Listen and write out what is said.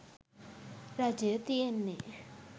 රජය තියෙන්නේ